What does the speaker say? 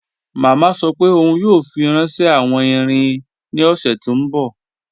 Mama sọ́ pé óun yóò fi ránṣẹ̀ awọn ìrìn ní ọṣẹ̀ tó nbọ̀.